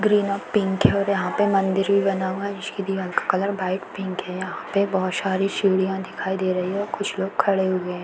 Green और pink है और यहाँ पे मंदिर भी बना हुआ है। जिसकी दीवार का कलर व्हाइट पिंक है। यहाँ पे बहोत सारी सीढियाँ दिखाई दे रही हैं। कुछ लोग खड़े हुए हैं।